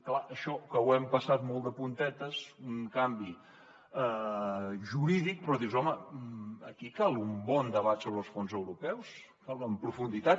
clar això que ho hem passat molt de puntetes un canvi jurídic però dius home aquí cal un bon debat sobre els fons europeus en profunditat